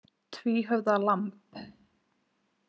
Tvíhöfða lamb.